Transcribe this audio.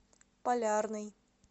полярный